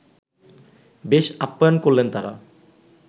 বেশ আপ্যায়ন করলেন তাঁরা